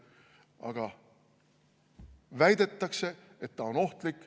Aga väidetakse, et ta on ohtlik.